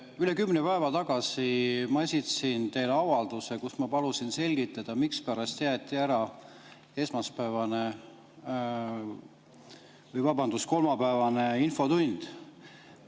Üle kümne päeva tagasi ma esitasin teile avalduse, milles ma palusin selgitada, mispärast jäeti ära esmaspäevane või vabandust, kolmapäevane infotund.